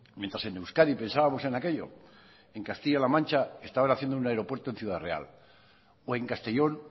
mientras en euskadi pensábamos en aquello en castilla la mancha estaban haciendo un aeropuerto en ciudad real o en castellón